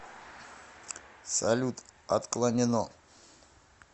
салют отклонено